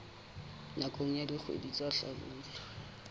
nakong ya dikgwedi tsa hlabula